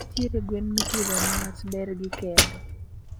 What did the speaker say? ntiere gwen mipidho niwach bergi kende